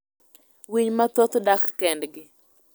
Winy mathoth dak kendgi.